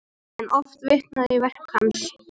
Enn er oft vitnað í verk hans.